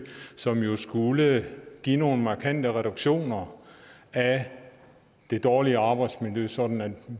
som jo skulle give nogle markante reduktioner af det dårlige arbejdsmiljø sådan